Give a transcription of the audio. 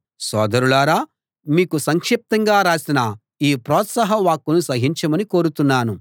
సోదరులారా మీకు సంక్షిప్తంగా రాసిన ఈ ప్రోత్సాహవాక్కును సహించమని కోరుతున్నాను